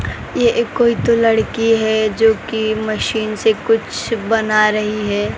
ये एक कोई तो लड़की है जो की मशीन से कुछ बना रही है।